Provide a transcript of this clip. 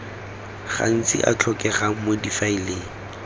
gantsi a tlhokegang mo difaeleng